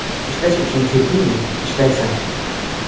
Ishlash uchun keldingmi, ishlaysan.